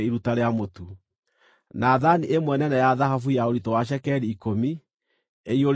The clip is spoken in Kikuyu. na thaani ĩmwe nene ya thahabu ya ũritũ wa cekeri ikũmi, ĩiyũrĩtio ũbumba;